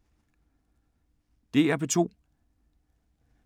DR P2